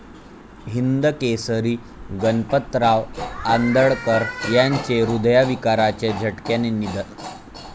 हिंदकेसरी गणपतराव आंदळकर यांचे हृदयविकाराच्या झटक्याने निधन